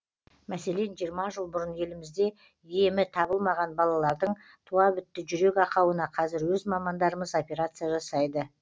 мәселен жиырма жыл бұрын елімізде емі табылмаған балалардың туа бітті жүрек ақауына қазір өз мамандарымыз операция жасайды